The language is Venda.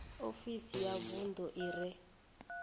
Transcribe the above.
ofisi ya vunḓu i re